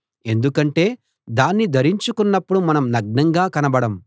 ఎందుకంటే దాన్ని ధరించుకున్నపుడు మనం నగ్నంగా కనబడం